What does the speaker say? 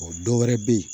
O dɔwɛrɛ bɛ ye